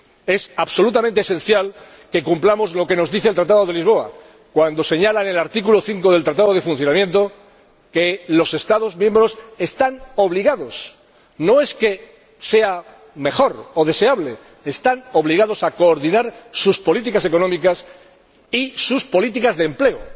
Es absolutamente esencial que cumplamos lo que nos dice el Tratado de Lisboa cuando señala en el artículo 5 del Tratado de Funcionamiento de la UE que los Estados miembros están obligados —no es que sea mejor o deseable, es que están obligados— a coordinar sus políticas económicas y sus políticas de empleo,